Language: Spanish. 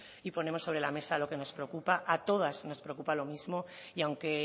y ponemos sobre la mesa lo que nos preocupa a todas nos preocupa lo mismo y aunque